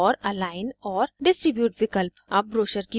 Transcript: * और अलाइन और distribute विकल्प